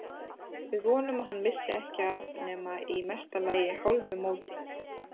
Við vonum að hann missi ekki af nema í mesta lagi hálfu móti.